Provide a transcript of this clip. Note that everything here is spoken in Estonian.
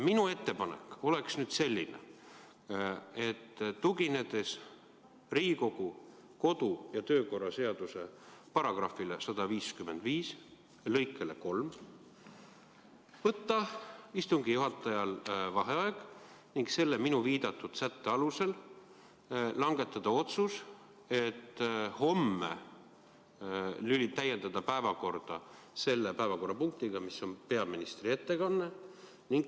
Minu ettepanek on selline: tuginedes Riigikogu kodu- ja töökorra seaduse § 155 lõikele 3 võiks istungi juhataja võtta vaheaja ning selle minu viidatud sätte alusel langetada otsuse täiendada homme päevakorda päevakorrapunktiga, mis on peaministri ettekanne.